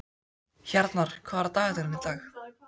Hjarnar, hvað er á dagatalinu í dag?